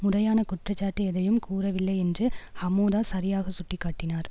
முறையான குற்றச்சாட்டு எதனையும் கூறவில்லை என்று ஹமோதா சரியாக சுட்டி காட்டினார்